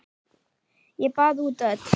Ég baða út öll